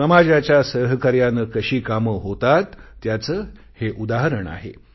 समाजाच्या सहकार्याने कशी कामे होतात त्याचे हे उदाहरण आहे